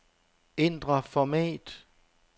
Ændr format.